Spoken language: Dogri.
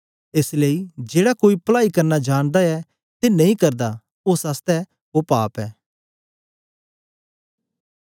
एस लेई जेड़ा कोई पलाई करना जानदा ऐ ते नेई करदा ओ ओस बासतै पाप ऐ